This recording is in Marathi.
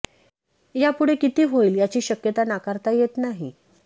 या पुढे किती होईल याची शक्यता नाकारता येत नाही